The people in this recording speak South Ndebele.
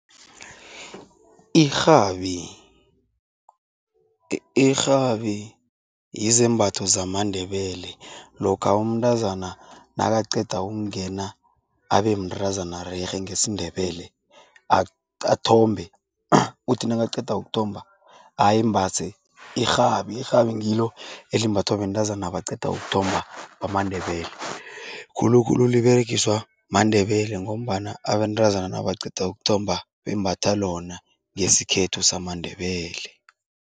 Irhabi, irhabi yizembatho zamaNdebele. Lokha umntazana nakaqeda ukungena abemntazana rerhe ngesiNdebele, athombe, uthi nakaqeda ukuthomba ayembase irhabi. Irhabi ngilo elimbathwa bantazana abaqeda ukuthomba bamaNdebele. Khulukhulu liberegiswa maNdebele ngombana abentazana nabaqeda ukuthomba bembatha lona, ngesikhethu samaNdebele.